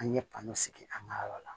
An ye sigi an ka yɔrɔ la